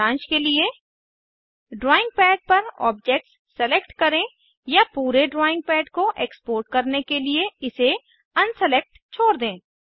सारांश के लिए ड्राइंग पैड पर ऑब्जेक्ट्स सेलेक्ट करें या पूरे ड्राइंग पैड को एक्सपोर्ट करने के लिए इसे अनसेलेक्ट छोड़ दें